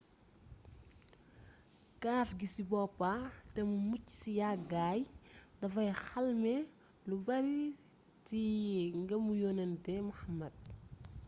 kaaf gi ci boppa te mu mucc ci yàggaay dafay xalme lu bari ci ngëmuyonentu muhammad psl